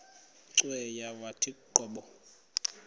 cweya yawathi qobo